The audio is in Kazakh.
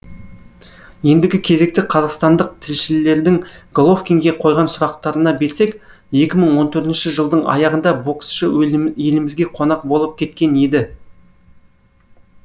ендігі кезекті қазақстандық тілшілердің головкинге қойған сұрақтарына берсек екі мың он төртінші жылдың аяғында боксшы елімізге қонақ болып кеткен еді